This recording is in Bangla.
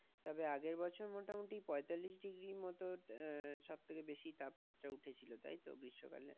তো আগের বছর মোটামুটি পয়তাল্লিশ degrees মত আহ সবথেকে বেশি তাপমাত্রা উথেছিল, তাইতো গৃষ্মকালে?